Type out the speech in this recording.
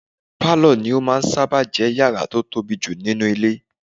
Pálọ̀ ní ó máà ń sáábà jẹ́ yàrá tó tóbi jù nínú ilé